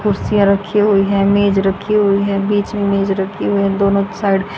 कुर्सियां रखी हुई हैं मेज रखी हुई है बीच में मेज रखी हुई है दोनों साइड --